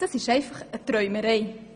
Das ist einfach eine Träumerei.